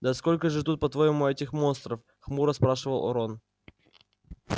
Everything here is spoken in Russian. да сколько же тут по-твоему этих монстров хмуро спрашивал рон